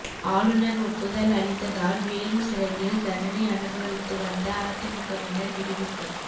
ஆளுநர் ஒப்புதல் அளித்ததால் வேலூர் சிறையில் தண்டனை அனுபவித்து வந்த அதிமுகவினர் விடுவிப்பு